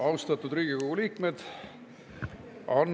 Austatud Riigikogu liikmed!